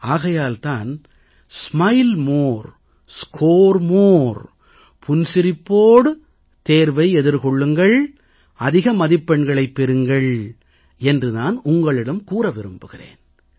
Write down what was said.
ஆகையால் தான் smile more score more புன்சிரிப்போடு தேர்வை எதிர்கொள்ளுங்கள் அதிக மதிப்பெண்களைப் பெறுங்கள் என்று நான் உங்களிடம் கூற விரும்புகிறேன்